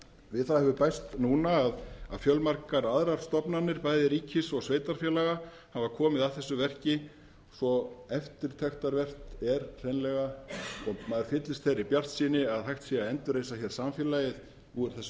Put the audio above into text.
við það hefur bæst núna að fjölmargar aðrar stofnanir bæði ríkis og sveitarfélaga hafa komið að þessu verki svo eftirtektarvert er hreinlega og maður fyllist þeirri bjartsýni að hægt sé að endurreisa samfélagið úr þessu